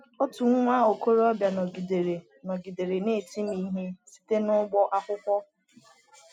Otu nwa okorobịa nọgidere nọgidere na-eti m ihe site n’ụgbọ akwụkwọ.